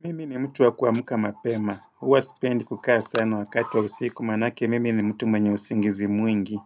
Mimi ni mtu wa kuamka mapema, huwa sipendi kukaa sana wakati wa usiku maanake, mimi ni mtu mwenye usingizi mwingi.